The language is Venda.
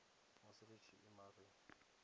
musi ri tshi ima ri